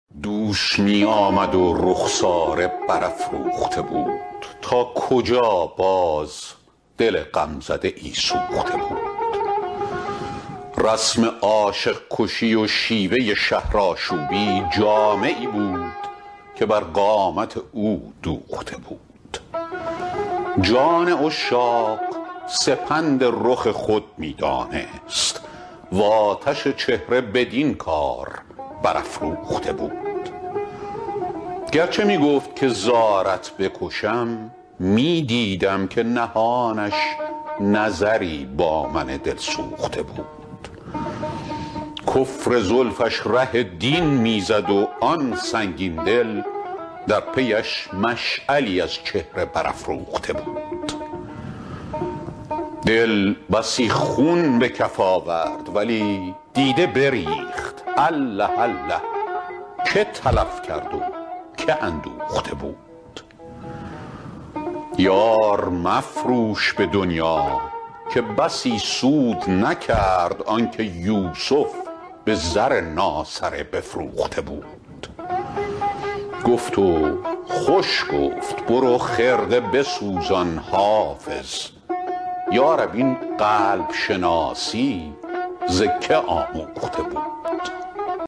دوش می آمد و رخساره برافروخته بود تا کجا باز دل غمزده ای سوخته بود رسم عاشق کشی و شیوه شهرآشوبی جامه ای بود که بر قامت او دوخته بود جان عشاق سپند رخ خود می دانست و آتش چهره بدین کار برافروخته بود گر چه می گفت که زارت بکشم می دیدم که نهانش نظری با من دلسوخته بود کفر زلفش ره دین می زد و آن سنگین دل در پی اش مشعلی از چهره برافروخته بود دل بسی خون به کف آورد ولی دیده بریخت الله الله که تلف کرد و که اندوخته بود یار مفروش به دنیا که بسی سود نکرد آن که یوسف به زر ناسره بفروخته بود گفت و خوش گفت برو خرقه بسوزان حافظ یا رب این قلب شناسی ز که آموخته بود